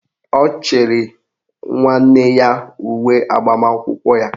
Ọ chịrị nwanne ya uwe agbamakwụkwọ ya.